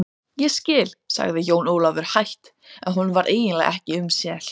Ég skil, sagði Jón Ólafur hægt en honum varð eiginlega ekki um sel.